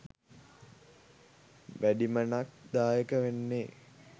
වැඩිමනක් දායක වෙන්නෙ